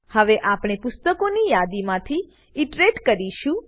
હવે આપણે પુસ્તકોની યાદીમાંથી ઈટરેટ કરીશું